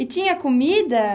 E tinha comida?